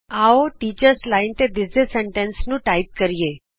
ਆਉ ਅਸੀਂ ਅਧਿਆਪਕ ਲਾਈਨ ਟੀਚਰਜ਼ ਲਾਈਨ ਤੇ ਦਿੱਸਦੇ ਵਾਕ ਨੂੰ ਟਾਈਪ ਕਰੀਏ